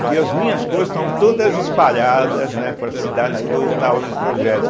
porque as minhas coisas estavam todas espalhadas, né, pelas cidades que eu estava no projeto.